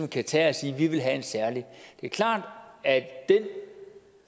kan tage det er klart at den